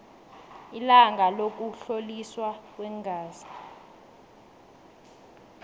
ilanga lokuhloliswa kweengazi